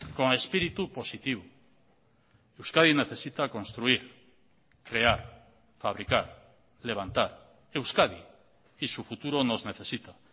con espíritu positivo euskadi necesita construir crear fabricar levantar euskadi y su futuro nos necesita